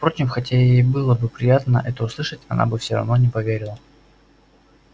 впрочем хотя ей и было бы приятно это услышать она бы все равно не поверила